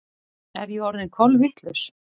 Er ég orðin kolvitlaus?